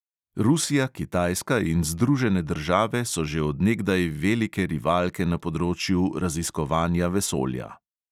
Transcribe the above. Rusija, kitajska in združene države so že od nekdaj velike rivalke na področju raziskovanja vesolja.